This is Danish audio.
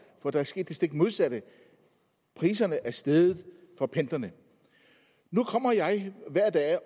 for der er sket det stik modsatte priserne er steget for pendlerne nu